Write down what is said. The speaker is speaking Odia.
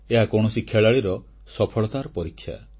ଏହା କୌଣସି ଖେଳାଳୀର ସଫଳତାର ପରୀକ୍ଷା